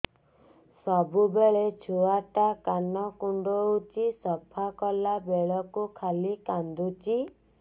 ସବୁବେଳେ ଛୁଆ ଟା କାନ କୁଣ୍ଡଉଚି ସଫା କଲା ବେଳକୁ ଖାଲି କାନ୍ଦୁଚି